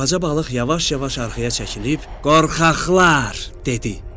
Balaca balıq yavaş-yavaş arxaya çəkilib “Qorxaqlar!” dedi.